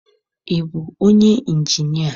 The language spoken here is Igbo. Ị bụ onye ịnjinịa?